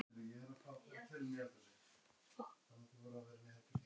Allsnægtirnar málaðar upp af listrænni smekkvísi kaupmanna.